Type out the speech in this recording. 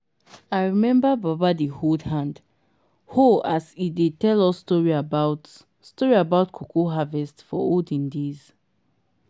i remember baba dey hold hand-hoe as e dey tell us story about story about cocoa harvest for olden days.